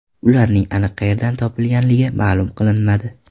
Ularning aniq qayerdan topilganligi ma’lum qilinmadi.